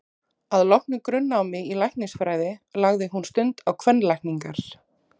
Að loknu grunnnámi í læknisfræði lagði hún stund á kvenlækningar.